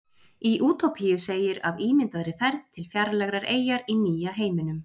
Í Útópíu segir af ímyndaðri ferð til fjarlægrar eyjar í Nýja heiminum.